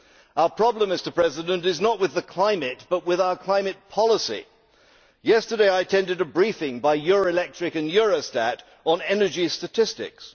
Our problem is not with the climate but with our climate policy. Yesterday I attended a briefing by Euroelectric and Eurostat on energy statistics.